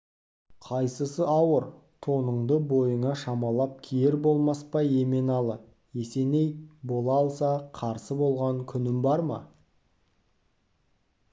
қайсысы ауыр тоныңды бойыңа шамалап киер болмас па еменалы есеней бола алса қарсы болған күнім бар ма